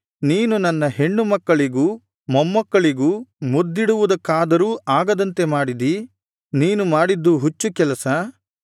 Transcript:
ಆದರೆ ನೀನು ನನ್ನ ಹೆಣ್ಣು ಮಕ್ಕಳಿಗೂ ಮೊಮ್ಮಕ್ಕಳಿಗೂ ಮುದ್ದಿಡುವುದಕ್ಕಾದರೂ ಆಗದಂತೆ ಮಾಡಿದಿ ನೀನು ಮಾಡಿದ್ದು ಹುಚ್ಚು ಕೆಲಸ